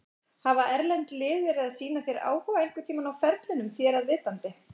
Hafa erlend lið verið að sýna þér áhuga einhverntímann á ferlinum þér að vitandi?